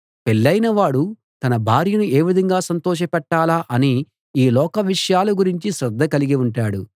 పెళ్ళయిన వాడు తన భార్యను ఏ విధంగా సంతోషపెట్టాలా అని ఈ లోకవిషయాల గురించి శ్రద్ధ కలిగి ఉంటాడు